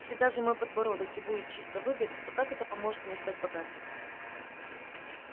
если даже мой подбородок и будет чисто выбрит то как это поможет мне стать богатым